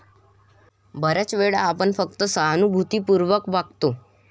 बऱ्याच वेळा आपण फक्त सहानुभूतीपूर्वक वागतो.